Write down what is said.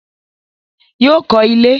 Yóò kọ́ ilé